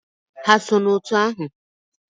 Ha so n'òtù ahụ?